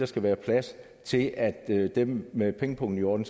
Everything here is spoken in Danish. skal være plads til at dem med pengepungen i orden